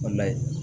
Walahi